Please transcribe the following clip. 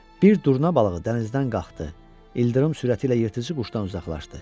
Bir durna balığı dənizdən qalxdı, ildırım sürəti ilə yırtıcı quşdan uzaqlaşdı.